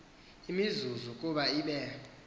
imizuzu ukuba ibe